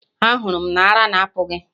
Ahụrụ m na ara na apụ gị!